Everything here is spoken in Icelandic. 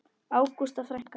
Ágústa frænka.